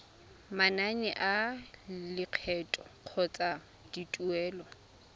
manane a lekgetho kgotsa dituelo